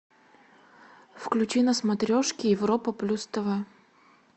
включи на смотрешке европа плюс тв